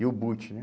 E o boot, né?